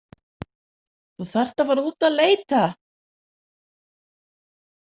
þú þarft að fara út að leita!